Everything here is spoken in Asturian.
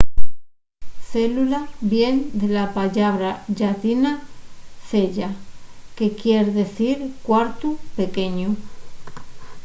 célula vien de la pallabra llatina cella que quier dicir cuartu pequeñu